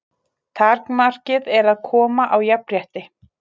Takmarkið er að koma á jafnrétti.